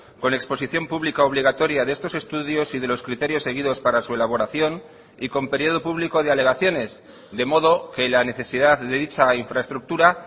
con exposición pública obligatoria de estos estudios y de los criterios seguidos para su elaboración y con periodo público de alegaciones de modo que la necesidad de dicha infraestructura